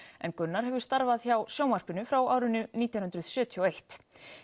en Gunnar hefur starfað hjá sjónvarpinu frá árinu nítján hundruð sjötíu og eitt